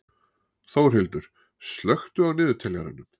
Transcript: Þórhildur, slökktu á niðurteljaranum.